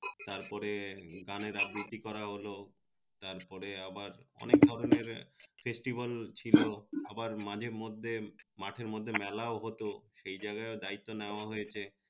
তার পরে গানের আবৃত্তি করা হলো তারপরে আবার ধরনের festival ছিলো আবার মাঝে মধ্যে মাঠের মধ্যে মেলাও হত এই জায়গায় ও দায়িত্ব নেওয়া হয়েছে